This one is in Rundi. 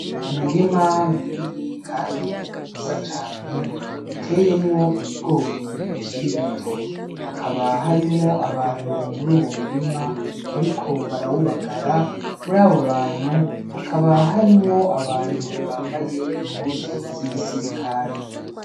Umurima munini, kandi mwiza cane uteyemwo ibigori bikiri bito hakaba harimwo abantu muri uwo murima, ariko barawubagara muri abo bantu hakaba harimwo abantu bambaye impuzu z'igisirikali.